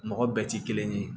Mɔgɔ bɛɛ ti kelen ye